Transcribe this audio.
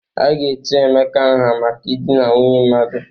A ga-etu Emeka nha maka idina nwunye mmadụ.